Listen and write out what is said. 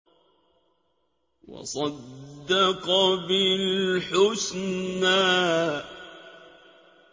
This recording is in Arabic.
وَصَدَّقَ بِالْحُسْنَىٰ